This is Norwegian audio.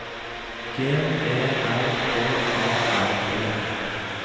G E R H A R D